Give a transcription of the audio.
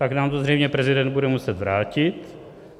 Pak nám to zřejmě prezident bude muset vrátit.